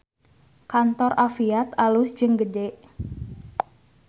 Kantor Afiat alus jeung gede